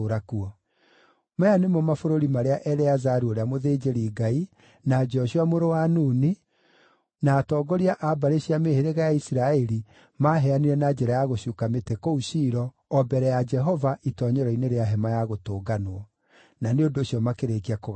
Maya nĩmo mabũrũri marĩa Eleazaru ũrĩa mũthĩnjĩri-Ngai, na Joshua mũrũ wa Nuni, na atongoria a mbarĩ cia mĩhĩrĩga ya Isiraeli maaheanire na njĩra ya gũcuuka mĩtĩ kũu Shilo o mbere ya Jehova itoonyero-inĩ rĩa Hema-ya-Gũtũnganwo. Na nĩ ũndũ ũcio makĩrĩkia kũgaya bũrũri ũcio.